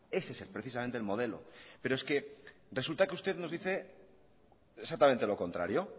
ese es precisamente el modelo pero es que resulta que usted nos dice exactamente lo contrario